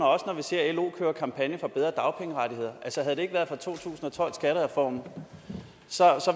også når vi ser lo køre kampagne for bedre dagpengerettigheder havde det ikke været for to tusind og tolv skattereformen